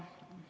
Aeg!